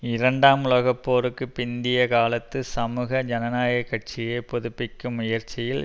இரண்டாம் உலகப்போருக்கு பிந்திய காலத்து சமூக ஜனநாயக கட்சியை புதுப்பிக்கும் முயற்சியில்